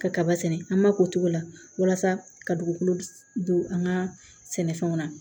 Ka kaba sɛnɛ an ma k'o togo la walasa ka dugukolo don an ka sɛnɛfɛnw na